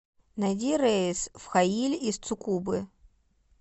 найди рейс в хаиль из цукубы